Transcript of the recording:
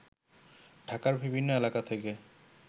ঢাকার বিভিন্ন এলাকা থেকে